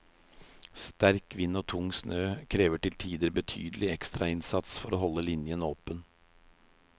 Sterk vind og tung snø krever til tider betydelig ekstra innsats for å holde linjen åpen.